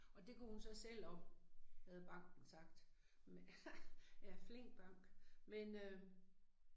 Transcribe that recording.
Og det kunne hun så selv om havde banken sagt. Ja flink bank. Men øh